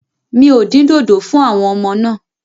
Mi ò dín dòdò fún àwọn ọmọ náà.